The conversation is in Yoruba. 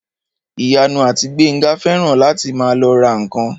Ìyanu àti Gbénga fẹ́ràn láti máa lọ ra ǹkan